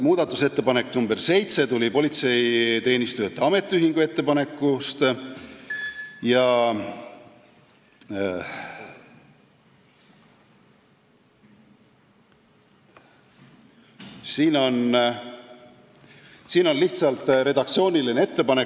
Muudatusettepanek nr 7 on tulenenud Politseiteenistujate Ametiühingu ettepanekust, see on lihtsalt redaktsiooniline ettepanek.